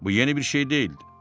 Bu yeni bir şey deyildi.